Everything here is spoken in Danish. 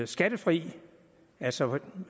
skattefri altså ved